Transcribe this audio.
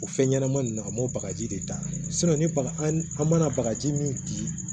O fɛn ɲɛnama nunnu an b'o bagaji de da ni baga an mana bagaji min bin